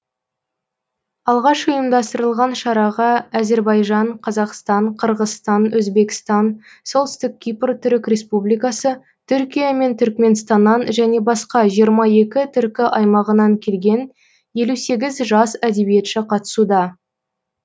алғаш ұйымдастырылған шараға әзербайжан қазақстан қырғызстан өзбекстан солтүстік кипр түрік республикасы түркия мен түрікменстаннан және басқа жиырма екі түркі аймағынан келген елу сегіз жас әдебиетші қатысуда